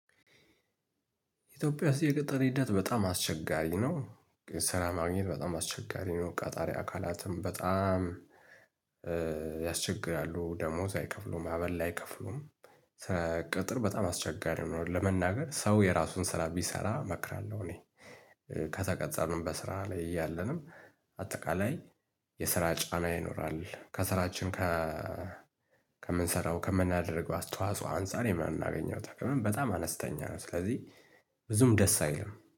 ኢትዮጵያ ውስጥ የቅጥር ሂደት በጣም አስቸጋሪ ነው። ስራ ማግኘት በጣም አስቸጋሪ ነው ቃጣሪ አካላትም በጣም ያስቸግራሉ ደሞዝ አይከፍሉም ዐበል አይከፍሉም ስለ ቅጥር በጣም አስቸጋሪ ሁኗል እውነት ለመናገር ሰው የራሱን ስራ ቢሰራ እመክራለሁ እኔ ከተቀጠርንም በስራ ላይ እያለንም አጠቃላይ የስራ ጫና ይኖራል ከስራችን ጋር ከምንሰራው ከምናደርገው አስተዋጽኦ አንፃር የምናገኘው ጥቅም በጣም አነስተኛ ነው። ስለዚህ ብዙም ደስ አይልም